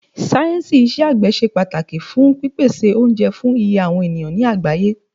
Sáyẹ̀nsì iṣẹ́ àgbẹ̀ ṣe pàtàkì fún pípèsè oúnjẹ fún iye àwọn ènìyàn ní àgbáyé.